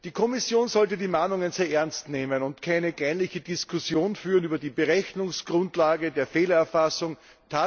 Die Kommission sollte die Mahnungen sehr ernst nehmen und keine kleinliche Diskussion über die Berechnungsgrundlage der Fehlererfassung führen.